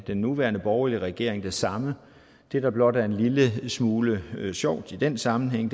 den nuværende borgerlige regering det samme det der blot er en lille smule sjovt i den sammenhæng